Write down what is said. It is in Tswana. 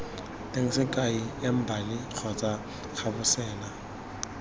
teng sekai embali kgotsa gabosela